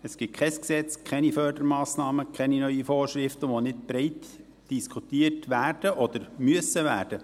Es gibt kein Gesetz, keine Fördermassnahmen, keine neuen Vorschriften, die nicht breit diskutiert werden oder diskutiert müssen werden.